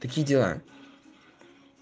такие дела